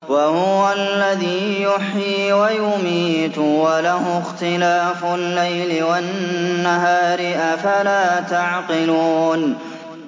وَهُوَ الَّذِي يُحْيِي وَيُمِيتُ وَلَهُ اخْتِلَافُ اللَّيْلِ وَالنَّهَارِ ۚ أَفَلَا تَعْقِلُونَ